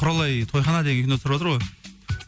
құралай тойхана деген кино түсіріватыр ғой